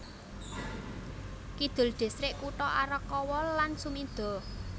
Kidul distrik kutha Arakawa lan Sumida